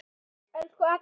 Elsku Agga okkar.